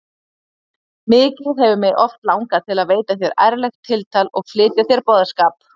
Mikið hefur mig oft langað til að veita þér ærlegt tiltal og flytja þér boðskap.